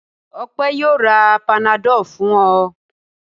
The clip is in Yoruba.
Ọpẹ́ yóò ra Panadol fún ọ.